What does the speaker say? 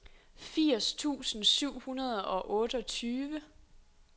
firs tusind syv hundrede og otteogtyve